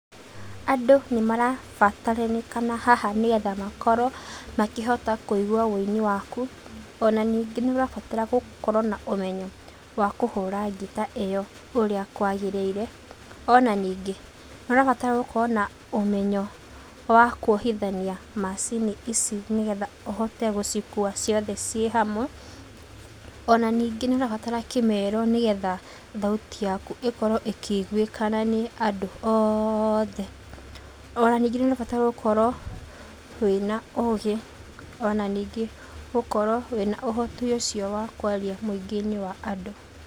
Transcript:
Andũ nĩmarabataranĩkana haha nĩgetha makorwo makĩhota kuigua ũini waku. Ona ningĩ nĩũrabatara gũkorwo na ũmenyo wa kũhũra ngita ĩyo, ũrĩa kwagĩrĩire. Ona ningĩ, nĩũrabatara gũkorwo na ũmenyo wa kuohithania macini ici, nĩgetha ũhote gũcikua ciothe ciĩ hamwe. Ona ningĩ nĩũrabatara kĩmero nĩgetha thauti yaku ikorwo ĩkĩiguĩkana nĩ Andũ othe. Ona ningĩ nĩũrabatara gũkorwo wĩ na ũgĩ, ona ningĩ gũkorwo wĩ na ũhoti ũcio wa kwaria mũingĩ-inĩ wa Andũ.